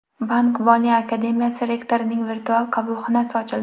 Bank-moliya akademiyasi rektorining virtual qabulxonasi ochildi.